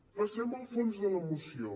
passem al fons de la moció